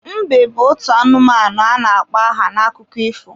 Mbe bụ otu anụmanụ a na-akpọ aha n'akụkọ ifo.